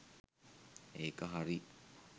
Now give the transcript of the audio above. ඒක හරි